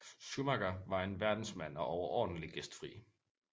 Schumacher var en verdensmand og overordentlig gæstfri